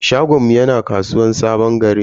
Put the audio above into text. Shagonmu yana kasuwan sabon gari ne.